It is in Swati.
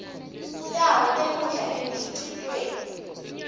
tawo tekudla emkhicitweni